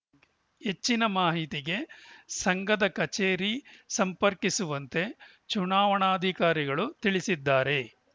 ಹೆಚ್ಚಿನ ಮಾಹಿತಿಗೆ ಸಂಘದ ಕಚೇರಿ ಸಂಪರ್ಕಿಸುವಂತೆ ಚುನಾವಣಾಧಿಕಾರಿಗಳು ತಿಳಿಸಿದ್ದಾರೆ